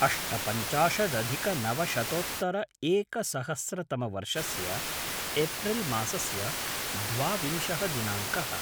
अष्टपञ्चाशदधिकनवशतोत्तर एकसहस्रतमवर्षस्य एप्रिल् मासस्य द्वाविंशः दिनाङ्कः